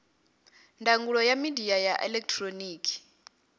ndangulo ya midia ya elekihironiki